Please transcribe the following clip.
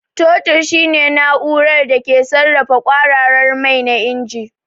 Totir shine na'urar da ke sarrafa kwararar mai na injin.